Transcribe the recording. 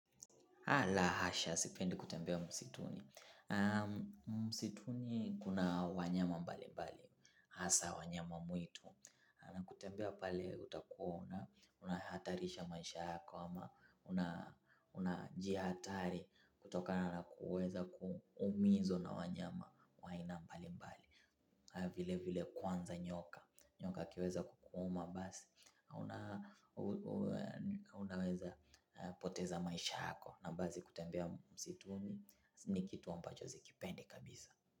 La hasha, sipendi kutembea msituni. Msituni kuna wanyama mbalimbali, hasa wanyama mwitu. Na kutembea pale utakua unahatarisha maisha yako ama una unajihatari kutokana na kuweza kuumizwa na wanyama wa aina mbalimbali. Vile vile kwanza nyoka nyoka akiweza kukuuma basi hauna. Unaweza poteza maisha yako. Na basi kutembea msituni ni kitu ambacho sikipendi kabisa.